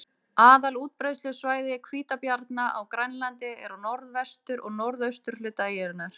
Aðal útbreiðslusvæði hvítabjarna á Grænlandi er á norðvestur- og norðausturhluta eyjunnar.